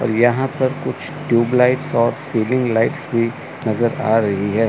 और यहां पर कुछ ट्यूबलाइट्स और सीलिंग लाइट्स भी नजर आ रहा है।